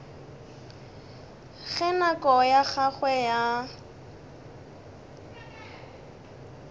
ge nako ya gagwe ya